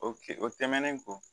O ke o tɛmɛnen kɔ